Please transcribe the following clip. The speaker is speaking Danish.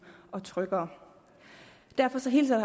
og tryggere derfor hilser